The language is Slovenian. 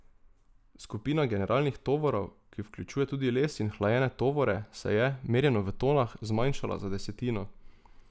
Skupina generalnih tovorov, ki vključuje tudi les in hlajene tovore, se je, merjeno v tonah, zmanjšala za desetino.